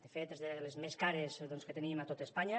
de fet és de les més cares que tenim a tot espanya